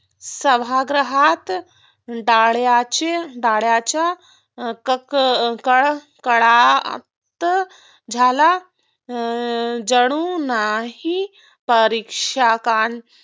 सभागृहात टाळ्यांचा टाळ्यांच कक कडकडून झाला जणू काही परीक्षकांचा